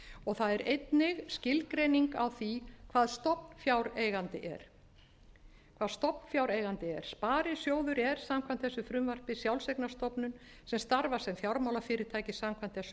og það er einnig skilgreining á því hvað stofnfjáreigandi er sparisjóður er samkvæmt þessu frumvarpi sjálfseignarstofnun sem starfar sem fjármálafyrirtæki samkvæmt þessum lögum